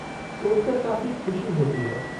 सोचकर काफ़ी ख़ुशी होती है।